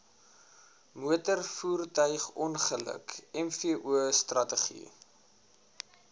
motorvoertuigongeluk mvo strategie